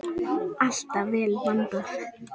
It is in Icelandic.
Alltaf vel vandað.